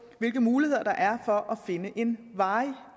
hvilke muligheder der er for finde en varig